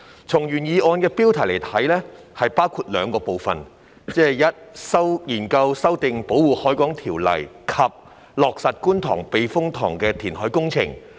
從原議案的標題來看，議案內容包括了兩個部分，即"研究修訂《保護海港條例》"及"落實觀塘避風塘填海工程"。